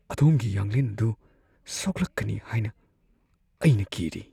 ꯑꯗꯣꯝꯒꯤ ꯌꯥꯡꯂꯦꯟ ꯑꯗꯨ ꯁꯣꯛꯂꯛꯀꯅꯤ ꯍꯥꯏꯅ ꯑꯩꯅ ꯀꯤꯔꯤ ꯫ (ꯗꯣꯛꯇꯔ)